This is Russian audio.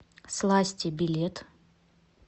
сласти билет